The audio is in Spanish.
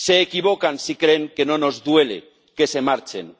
Se equivocan si creen que no nos duele que se marchen.